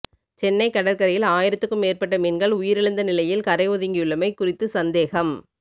சென்னை கடற்கரையில் ஆயிரத்துக்கும் மேற்பட்ட மீன்கள் உயிரிழந்தநிலையில் கரை ஒதுங்கியுள்ளமை குறித்து சந்தேகம்